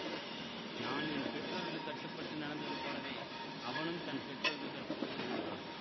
நான் என் பெற்றோர்க்குக் கட்டுப்பட்டு நடந்தது போலவே அவனும் தன் பெற்றோர்க்குக் கட்டுப்பட்டு நடந்தான்